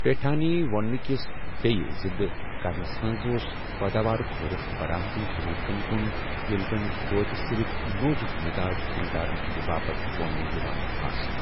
پیٹھانی وونٛنہٕ کِس بییہ زِندٕ كرنس منز ، اوس پٲداوارُک رۄخ برآمدی ضروٗرتن کُن، ییٚلہِ زن دھوتہِ صِرف نوزٗك مِزاج خریٖدارن ہٕنٛدِ باپتھ وونٛنہٕ یِوان آسہٕ ۔